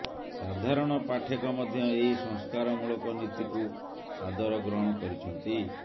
ସାଧାରଣ ପାଠେକ ମଧ୍ୟ ଏହି ସଂସ୍କାରମୂଳକ ନୀତିକୁ ସାଦର ଗ୍ରହଣ କରିଛନ୍ତି